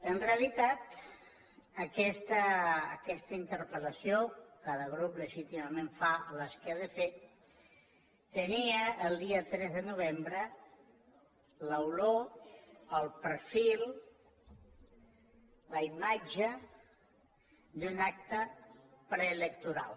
en realitat aquesta interpel·lació cada grup legítimament fa les que ha de fer tenia el dia tres de novembre l’olor el perfil la imatge d’un acte preelectoral